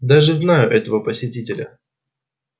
даже знаю этого посетителя